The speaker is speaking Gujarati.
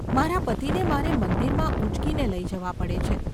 મારા પતિને મારે મંદિરમાં ઊંચકીને લઈ જવા પડે છે.